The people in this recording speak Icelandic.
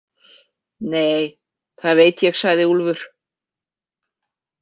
Nei, það veit ég, sagði Úlfur.